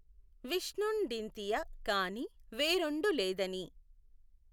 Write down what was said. విష్ణుఁ డింతియ కాని వేఱొండు లేదని